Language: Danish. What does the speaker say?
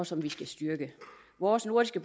som vi skal styrke vores nordiske